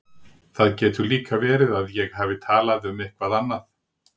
Það getur líka verið að ég hafi talað um eitthvað annað.